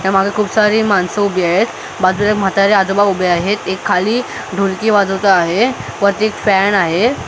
त्या मागं खूप सारी माणसं उभी आहेत बाजूला एक म्हातारे आजोबा उभे आहेत एक खाली ढोलकी वाजवत आहे वरती एक फॅन आहे बाजूला--